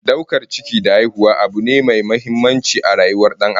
Daukar ciki da haihuwa abu ne mai muhimmanci a rayuwar Dan Adam